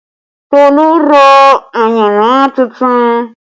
Tolu ra ayanran tuntun